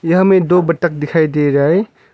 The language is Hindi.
यहां हमें दो बत्तख दिखाई दे रहा है।